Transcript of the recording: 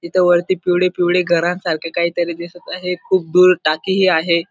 इथ वरती पिवळी पिवळी घरांसारख काहीतरी दिसत आहे खूप दूर टाकीही आहे.